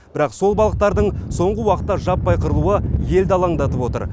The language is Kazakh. бірақ сол балықтардың соңғы уақытта жаппай қырылуы елді алаңдатып отыр